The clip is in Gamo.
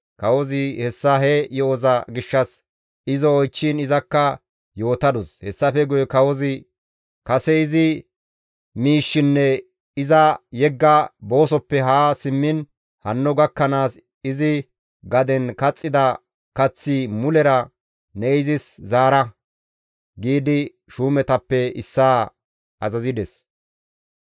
Kawozi hessa he yo7oza gishshas izo oychchiin izakka yootadus. Hessafe guye kawozi, «Kase izi miishshinne iza yegga boosofe haa simmiin hanno gakkanaas izi gaden kaxxida kaththi mulera ne izis zaara» giidi shuumetappe issaa azazides.